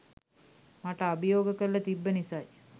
මට අභියෝග කරල තිබ්බ නිසයි